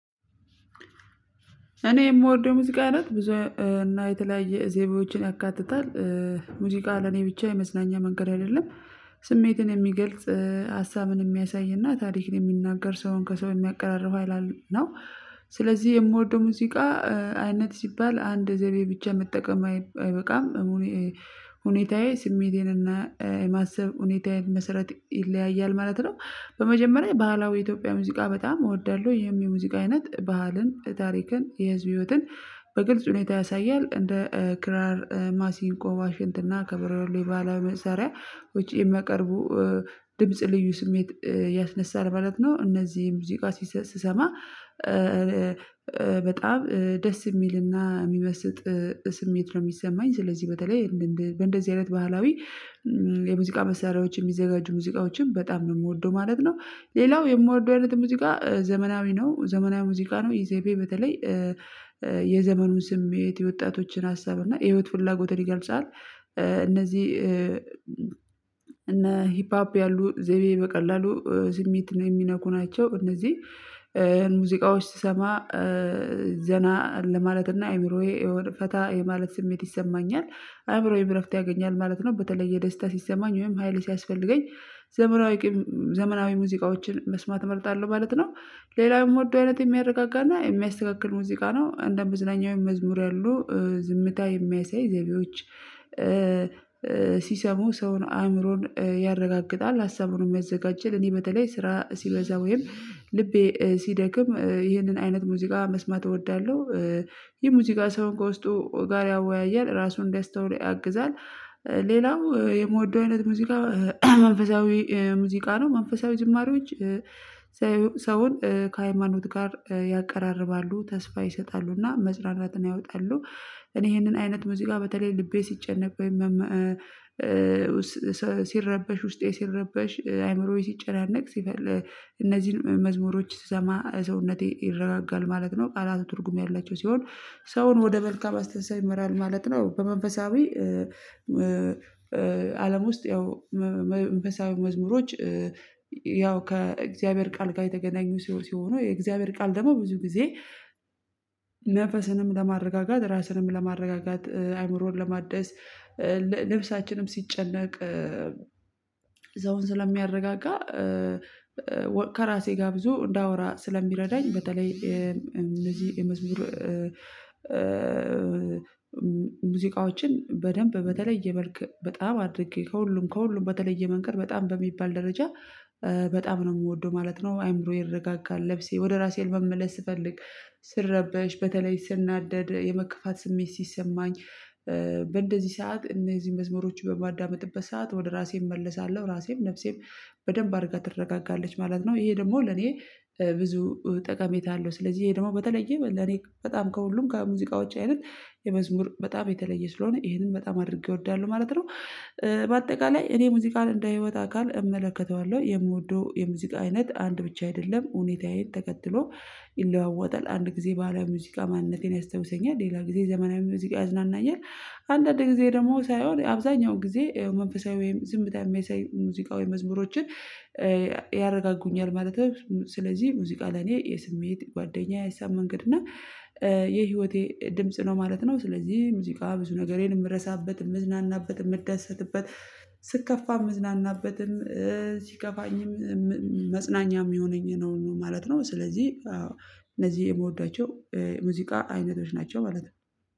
እኔ የምወርደው የሙዚቃ አይነት ብዙ እና የተለያየ ዜማዎችን ያካትታል ሙዚቃ ለኔ ብቻ የመዝናኛ መንገድ አይደለም ስሜትን የሚገልጽ ሀሳብን የሚያሳይና ታሪክን የሚናገር ሰውን ከሰው የሚያቀራርፈው ሀይል ነው። ስለዚህ የምወደው ሙዚቃ አይነት ሲባል አንድ ዘቤ ብቻ መጠቀም አይበቃም። ሁኔታዬ ስሜቴን እና የማሰብ ሁኔታዬን መሰረት ይለያያል ማለት ነው። በመጀመሪያ ባህላዊ የኢትዮጵያ ሙዚቃ በጣም እወዳለሁ ይህም የሙዚቃ አይነት ባህልን ታሪክን የህዝብ ህይወትን በግልጽ ሁኔታ ያሳያል። እንደ ክራር፣ ማሲንቆ፣ ባሽንትና፣ ከበሮ የባህላዊ መሳሪያ ውጪ የማቀርቡ ድምጽ ልዩ ስሜት ያስነሳል ማለት ነው። እነዚህን ሙዚቃ ስሰማ በጣም ደስ የሚልና የሚመስጥ ስሜት ነው የሚሰማኝ። ስለዚህ በተለይ እንደዚህ አይነት ባህላዊ የሙዚቃ መሳሪያዎችን የሚዘጋጁ ሙዚቃዎችን በጣም ነው የምወደው ማለት ነው። ሌላው የምወደው አይነት ሙዚቃ ዘመናዊ ነው ዘመናዊ ሙዚቃ ነው ኢዜቤ በተለይ የዘመኑን ስሜት የወጣቶችን ሀሳብ እና የህይወት ፍላጎትን ይገልጻል። እነዚህ እነ ሂፕ አፕ ያሉ ዘይቤ በቀላሉ ስሜትን የሚነኩ ናቸው። እነዚህ ሙዚቃዎች ስሰማ ዘና ለማለትና አይምሮዬ የሆነ ፈታ የማለት ስሜት ይሰማኛል። አይምሮዬም እረፍት ያገኛል ማለት ነው። በተለየ ደስታ ሲሰማኝ ወይም ሃይሌ ሲያስፈልገኝ ዘመናዊ ዘመናዊ ሙዚቃዎችን መስማት እመርጣለሁ ማለት ነው። ሌላው የምወደው አይነት የሚያረጋጋና የሚያስተካክል ሙዚቃ ነው እንደ መዝናኛ ወይም መዝሙር ያሉ ዝምታ የሚያሳይ ዘይቤዎች። ሲሰሙ ሰውን አእምሮን ያረጋግጣል ሀሳቡንም ያዘጋጃል። እኔ በተለይ ስራ ሲበዛ ወይም ልቤ ሲደክም ይህንን አይነት ሙዚቃ መስማት እወዳለሁ። የሙዚቃ ሰው ከውስጡ ጋር ያወያያል ራሱን እንዲያስተውል ያግዛል። ሌላው የምወደው አይነት ሙዚቃ መንፈሳዊ ሙዚቃ ነው። መንፈሳዊ ዝማሬዎች ሰውን ከሃይማኖት ጋር ያቀራርባሉ ተስፋ ይሰጣሉና መጽራራትን ያወጣሉ። እኔ ይሄንን አይነት ሙዚቃ በተለይ ልቤ ሲጨነቅ ወይም ሲረበሽ ውስጤ ሲረበሽ አይምሮዬ ሲጨናነቅ ሲፈልግ እነዚህን መዝሙሮች ሰውነቴ ይረጋጋል ማለት ነው። ቃላቱ ትርጉም ያላቸው ሲሆን ሰውን ወደ መልካም አስተሳሰብ ይመራል ማለት ነው። በመንፈሳዊ አለም ውስጥ ያው መንፈሳዊ መዝሙሮች ያው ከእግዚአብሔር ቃል ጋር የተገናኙ ሲሆኑ የእግዚአብሔር ቃል ደግሞ ብዙ ጊዜ መንፈስንም ለማረጋጋት ራስንም ለማረጋጋት አይምሮን ለማደስ ነፍሳችንም ሲጨነቅ ሰውን ስለሚያረጋጋ። ከራሴ ጋር ብዙ እንዳወራ ስለሚረዳኝ በተለይ እነዚህ የመዝሙር ሙዚቃዎችን በደንብ በተለየ መልክ በጣም አድርጌ ከሁሉም ከሁሉም በተለየ መንገድ በጣም በሚባል ደረጃ በጣም ነው የምወደው ማለት ነው። አይምሮ ይረጋጋል ነፍሴ ወደ ራሴ ልበምለስ ስፈልግ ስረበሽ በተለይ ስናደድ የመከፋት ስሜት ሲሰማኝ በእንደዚህ ሰዓት እነዚህን መዝሙሮች በማዳመጥበት ሰዓት ወደ ራሴ እመለሳለሁ ራሴም ነፍሴም በደንብ አድርጋ ትረጋጋለች ማለት ነው። ይሄ ደግሞ ለኔ ብዙ ጠቀሜታ አለው። ስለዚህ ይሄ ደግሞ በተለየ ለኔ በጣም ከሁሉም ከሙዚቃዎች አይነት የመዝሙር በጣም የተለየ ስለሆነ ይሄንን በጣም አድርጌ እወዳለሁ ማለት ነው። በአጠቃላይ እኔ ሙዚቃን እንደ ህይወት አካል እመለከተዋለሁ። የምወደው የሙዚቃ አይነት አንድ ብቻ አይደለም። ሁኔታዬን ተከትሎ ይለዋወጣል አንድ ጊዜ ባህላዊ ሙዚቃ ማንነቴን ያስታውሰኛል። ሌላ ጊዜ ዘመናዊ ሙዚቃ ያዝናናኛል። አንዳንድ ጊዜ ደግሞ ሳይሆን አብዛኛው ጊዜ መንፈሳዊ ወይም ዝምታ የሚያሳይ ሙዚቃዊ መዝሙሮችን ያረጋጉኛል ማለት ነው። ስለዚህ ሙዚቃ ለኔ የስሜት ጓደኛዬ የሀሳብ መንገድ እና የህይወቴ ድምጽ ነው ማለት ነው። ስለዚህ ሙዚቃ ብዙ ነገሬን የምረሳበት የምዝናናበት የምደሰትበት ስከፋ የምዝናናበትም ሲከፋኝም መጽናኛም የሚሆነኝ ነው ማለት ነው። ስለዚህ እነዚህ የምወዳቸው ሙዚቃ አይነቶች ናቸው ማለት ነው።